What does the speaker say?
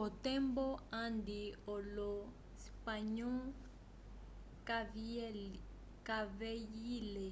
kotembo andi olo spanhois kaveyile